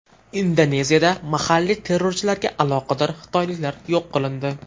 Indoneziyada mahalliy terrorchilarga aloqador xitoyliklar yo‘q qilindi.